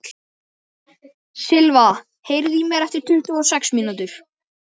Silva, heyrðu í mér eftir tuttugu og sex mínútur.